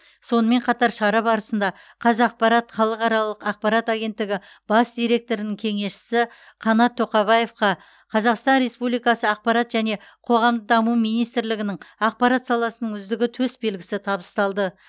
сонымен қатар шара барысында қазақпарат халықаралық ақпарат агенттігі бас директорының кеңесшісі қанат тоқабаевқа қазақстан республикасы ақпарат және қоғамдық даму министрлігінің ақпарат саласының үздігі төсбелгісі табысталды